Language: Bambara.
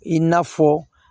I n'a fɔ